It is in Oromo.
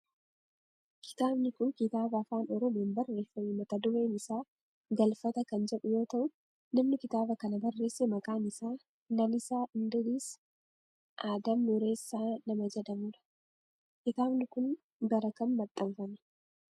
Kitaabni kun kitaaba afaan oromoon barreeffame mata dureen isaa Galfata kan jedhu yoo ta'u namni kitaaba kana barreesse maqaan isaa Lalisaa Indiris Adam Nuuressaa nama jedhamudha. Kitaabni kun bara kam maxxanfame?